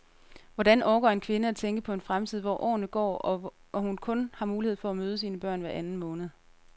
Hvordan orker en kvinde at tænke på en fremtid, hvor årene går og hun kun har mulighed for at møde sine børn hver anden måned?